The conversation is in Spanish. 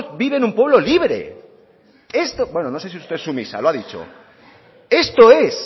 vive en un pueblo libre bueno no sé si usted es sumisa lo ha dicho esto es